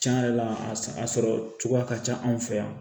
Cɛn yɛrɛ la a sɔrɔ cogoya ka ca anw fɛ yan